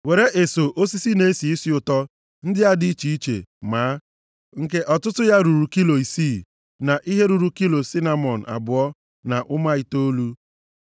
“Were eso osisi na-esi isi ụtọ ndị a dị iche iche: máá, nke ọtụtụ ya ruru kilo isii, na ihe ruru kilo sinamọn abụọ na ụma itoolu, na kilo kalamus atọ,